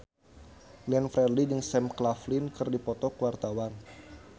Glenn Fredly jeung Sam Claflin keur dipoto ku wartawan